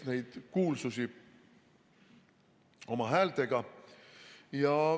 ... neid kuulsusi oma häältega.